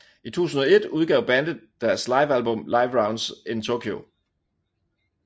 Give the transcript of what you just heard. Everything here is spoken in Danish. I 2001 udgav bandet deres live album Live Rounds In Tokyo